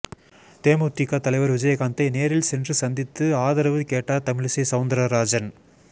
தேமுதிக தலைவர் விஜயகாந்த்தை நேரில் சென்று சந்தித்து ஆதரவு கேட்டார் தமிழிசை சவுந்தரராஜன்